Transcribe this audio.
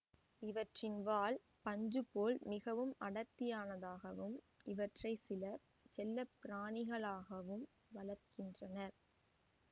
இவற்றின் வால் பஞ்சு போல் மிகவும் அடர்த்தியானதாகும் இவற்றை சிலர் செல்லப்பிராணிகளாகவும் வளர்க்கின்றனர்